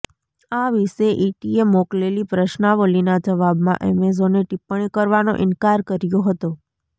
આ વિશે ઇટીએ મોકલેલી પ્રશ્નાવલિના જવાબમાં એમેઝોને ટિપ્પણી કરવાનો ઇનકાર કર્યો હતો